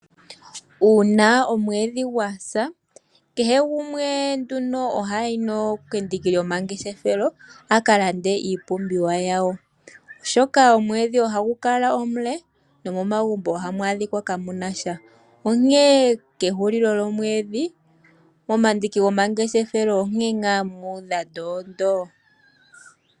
Uuna omwedhi gwasa kehe gumwe nduno ohayi kendiki lyomangeshefelo akalande iipumbiwa yawo ,oshoka omwedhi ohagu kala omule no momagumbo ohamu adhika kamunasha onkene kehulilo lyomwedhi momandiki gomangeshefelo onkene ngaa muudha ndoondoo.